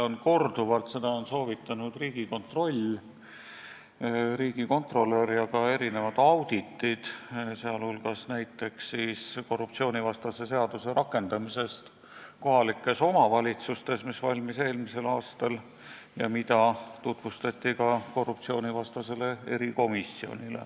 Seda on soovitanud Riigikontroll, riigikontrolör, ja ka erinevad auditid, näiteks "Korruptsioonivastase seaduse rakendamine kohalikes omavalitsustes", mis valmis eelmisel aastal ja mida tutvustati ka korruptsioonivastasele erikomisjonile.